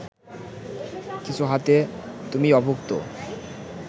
কিছু হাতে তুমি অভুক্ত